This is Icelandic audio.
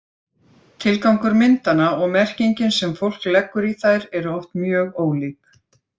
Tilgangur myndanna og merkingin sem fólk leggur í þær eru oft mjög ólík.